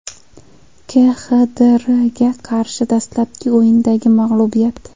KXDRga qarshi dastlabki o‘yindagi mag‘lubiyat?